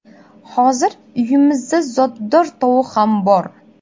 Hozir uyimizda zotdor tovuq ham bor.